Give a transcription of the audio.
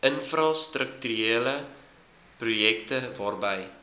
infrastrukturele projekte waarby